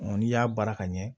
n'i y'a baara ka ɲɛ